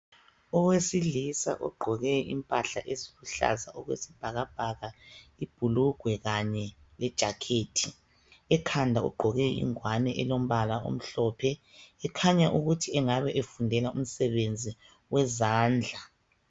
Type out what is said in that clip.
Owesilisa ogqoke impahla eziluhlaza okwesibhakabhaka ibhulugwe kanye lejakhethi. Ekhanda ugqoke ingwane elombala omhlophe kukhanya ukuthi engabe efundela umsebenzi wezandla.